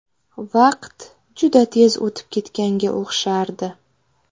Vaqt juda tez o‘tib ketganga o‘xshardi.